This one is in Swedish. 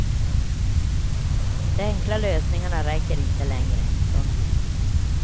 De enkla lösningarna räcker inte längre. punkt